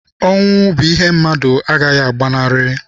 Ọnwụ bụ ihe mmadụ agaghị agbanarị.